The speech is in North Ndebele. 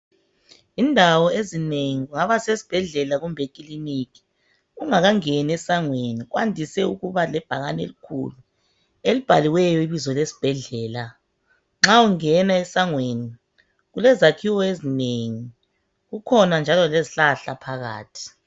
Indawo ezinengi, kungaba sesibhedlela kumbe ekiliniki , ungakangeni esangweni kwandise ukuba lebhakane elikhulu elibhaliweyo ibizo lesibhedlela. Nxa ungena esangweni kulezakhiwo ezinengi, kukhona njalo lezihlahla phakathi.